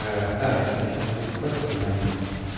да я тебе сейчас буду просто гнобить